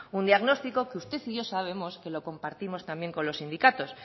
un diagnóstico que usted y yo sabemos que lo compartimos también con los sindicados